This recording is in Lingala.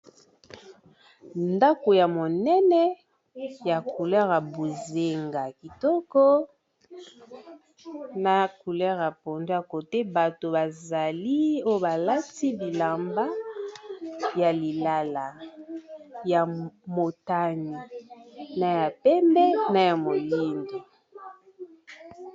Ndako ya monene ya couleur ya bozenga kitoko na couleur ya pondu côté bato bazali o balati bilamba ya lilala, ya motani, na ya pembe, na ya moyindo.